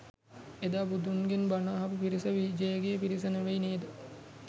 එදා බුදුන්ගෙන් බන අහපු පිරිස විජයගේ පිරිස නොවෙයි නේද?